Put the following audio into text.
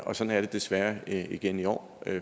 og sådan er det desværre igen i år